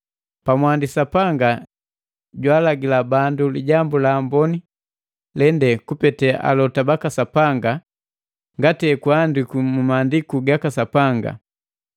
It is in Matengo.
Pamwandi Sapanga jwaalagila bandu Lijambu la Amboni lende kupete alota baka Sapanga ngati hekuandikwi mu Maandiku gaka Sapanga.